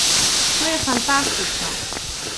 To je fantastično!